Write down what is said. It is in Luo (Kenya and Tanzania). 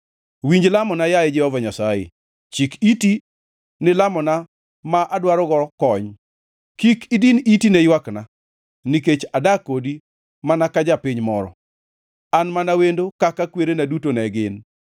Winj lamona, yaye Jehova Nyasaye, chik iti ni lamona ma adwarogo kony; kik idin iti ne ywakna, nikech adak kodi mana ka japiny moro, an mana wendo kaka kwerena duto ne gin.